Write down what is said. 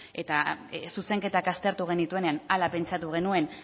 eta zuzenketak aztertu genituenean hala pentsatu genuen